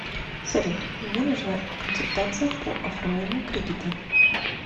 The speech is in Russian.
салют мне нужна консультация по оформлению кредита